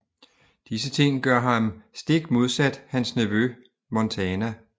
Disse ting gør ham stik modsat hans nevø Montana